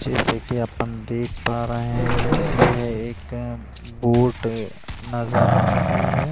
जैसे की अपन देख पा रहें हैं यह एक बोट नजर आ रही है।